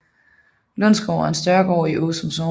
Lundsgård er en større gård i Åsum Sogn